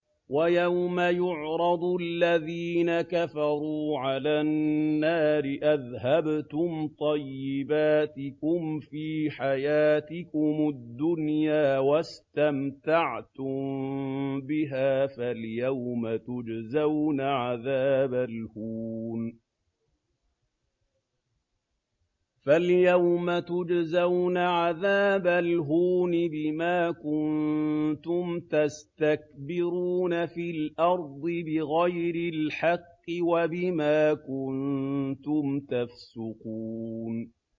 وَيَوْمَ يُعْرَضُ الَّذِينَ كَفَرُوا عَلَى النَّارِ أَذْهَبْتُمْ طَيِّبَاتِكُمْ فِي حَيَاتِكُمُ الدُّنْيَا وَاسْتَمْتَعْتُم بِهَا فَالْيَوْمَ تُجْزَوْنَ عَذَابَ الْهُونِ بِمَا كُنتُمْ تَسْتَكْبِرُونَ فِي الْأَرْضِ بِغَيْرِ الْحَقِّ وَبِمَا كُنتُمْ تَفْسُقُونَ